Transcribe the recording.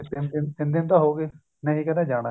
ਤਿੰਨ ਦਿਨ ਤਾਂ ਹੋ ਗਏ ਨਹੀਂ ਕਹਿੰਦਾ ਜਾਣਾ